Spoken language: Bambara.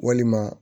Walima